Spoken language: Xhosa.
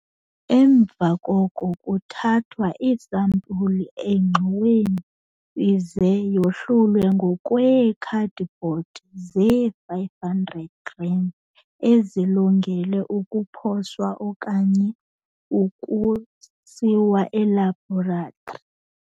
Emva koko kuthathwa iisampuli engxoweni ize yahlulwe ngokweekhadibhodi zee-500 g ezilungele ukuposwa okanye ukusiwa elabhoratri.